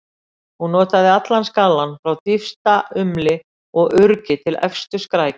Hún notaði allan skalann, frá dýpsta umli og urgi til efstu skrækja.